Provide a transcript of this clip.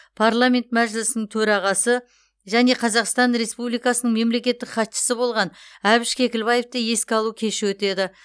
парламент мәжілісінің төрағасы және қазақстан республикасының мемлекеттік хатшысы болған әбіш кекілбаевты еске алу кеші өтеді